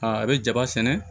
Aa a bɛ jaba sɛnɛ